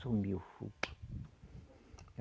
Sumiu o fogo.